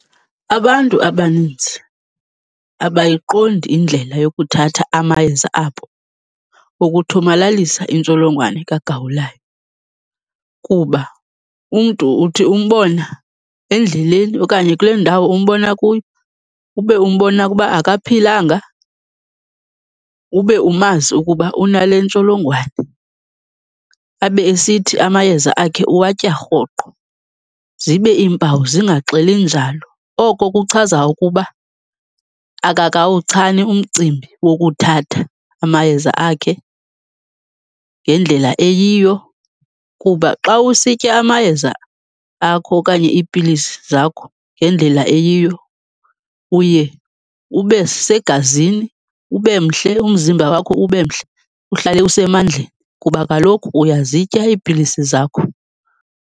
Abantu abanintsi abayiqondi indlela yokuthatha amayeza abo wokuthomalalisa intsholongwane kagawulayo. Kuba umntu uthi umbona endleleni okanye umbona kule ndawo umbona kuyo, ube umbona ukuba akaphilanga. Ube umazi ukuba unale ntsholongwane abe esithi, amayeza akhe uwatya rhoqo, zibe iimpawu zingaxeli njalo. Oko kuchaza ukuba akakawuchani umcimbi wokuthatha amayeza akhe ngendlela eyiyo. Kuba xa usitya amayeza akho okanye iipilisi zakho ngendlela eyiyo uye ube segazini, ube mhle, umzimba wakho ube mhle, uhlale usemandleni kuba kaloku uyazitya iipilisi zakho.